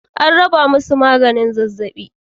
AN raba musu maganin zazzaɓi.